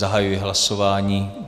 Zahajuji hlasování.